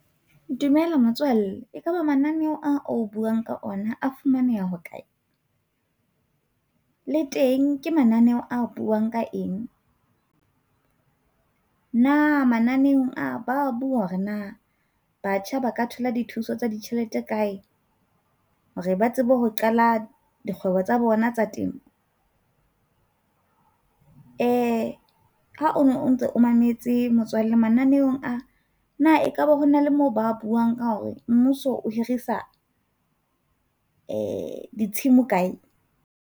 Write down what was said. Dumela motswalle, ekaba mananeo ao o buang ka ona a fumaneha ho kae? Le teng ke mananeo a buang ka eng? Na mananeong ao ba bua hore na batjha ba ka thola dithuso tsa ditjhelete kae hore ba tsebe ho qala dikgwebo tsa bona tsa temo? Eh ha o ntso mametse motswalle mananeong a na, ekaba ho na le mo ba buang ka hore mmuso o hirisa eh ditshimo di kae?